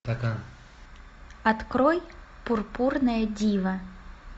открой пурпурное диво